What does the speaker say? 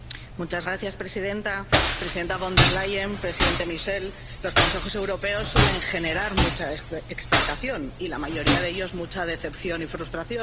Señora presidenta, presidenta Von der Leyen, presidente Michel, los Consejos Europeos suelen generar mucha expectación y la mayoría de ellos mucha decepción y frustración.